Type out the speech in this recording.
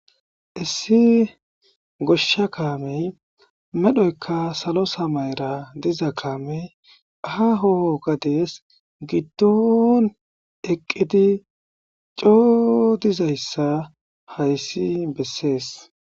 Issi goshsha kaamey medhoyka salo samayra diza kaamey aaho gadees giddon eqqidi coo dizayssa hayssi bessees